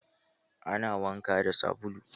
Ana wanka da sabulu.